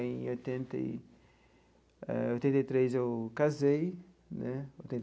Em oitenta e ah oitenta e três, eu casei né.